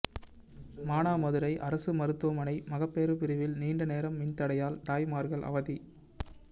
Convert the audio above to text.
மானாமதுரை அரசு மருத்துவமனை மகப்பேறு பிரிவில் நீண்ட நேர மின்தடையால் தாய்மாா்கள் அவதி